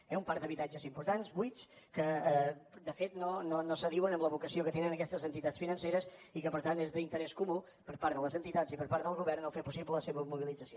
hi ha un parc d’habitatges important buits que de fet no s’adiuen amb la vocació que tenen aquestes entitats financeres i que per tant és d’interès comú per part de les entitats i per part del govern fer possible la seva mobilització